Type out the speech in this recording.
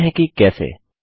देखते हैं कि कैसे